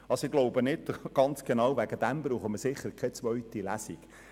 Betreffend diese Frage brauchen wir sicher keine zweite Lesung.